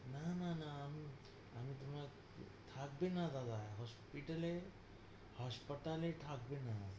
না না না, আমি~ আমি তোমাক, থাকবে না বাবা। hospital এ, হাসপাতালে থাকবে না।